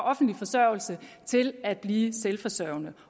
offentlig forsørgelse til at blive selvforsørgende